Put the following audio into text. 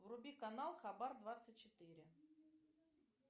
вруби канал хабар двадцать четыре